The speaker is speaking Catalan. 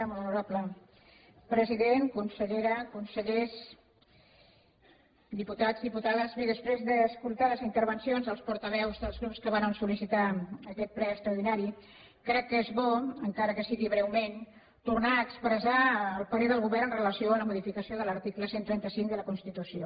molt honorable president consellera consellers diputats diputades bé després d’escoltar les intervencions dels portaveus dels grups que varen sol·licitar aquest ple extraordinari crec que és bo encara que sigui breument tornar a expressar el parer del govern amb relació a la modificació de l’article cent i trenta cinc de la constitució